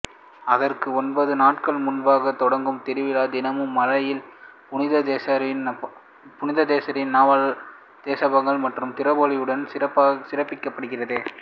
அதற்கு ஒன்பது நாட்கள் முன்பாக தொடங்கும் திருவிழா தினமும் மாலையில் புனித தெரேசாவின் நவநாள் செபங்கள் மற்றும் திருப்பலியுடன் சிறப்பிக்கப்படுகிறது